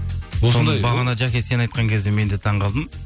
бағана жаке сен айтқан кезде мен де таңғалдым